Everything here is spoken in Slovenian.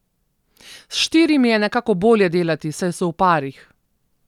S štirimi je nekako bolje delati, saj so v parih.